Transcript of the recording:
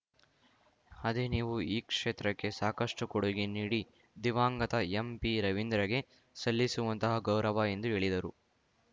ಅದೇ ನೀವು ಈ ಕ್ಷೇತ್ರಕ್ಕೆ ಸಾಕಷ್ಟುಕೊಡುಗೆ ನೀಡಿ ದಿವಂಗತ ಎಂಪಿರವೀಂದ್ರಗೆ ಸಲ್ಲಿಸುವಂತಹ ಗೌರವ ಎಂದು ಹೇಳಿದರು